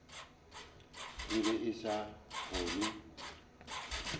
o be a sa kgone